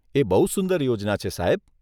એ બહુ સુંદર યોજના છે, સાહેબ.